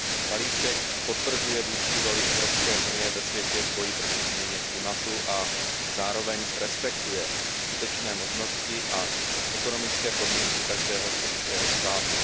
Balíček potvrzuje vůdčí roli Evropské unie ve světě v boji proti změně klimatu a zároveň respektuje skutečné možnosti a ekonomické podmínky každého členského státu.